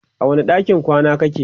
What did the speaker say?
a wani ɗakin kwana kake?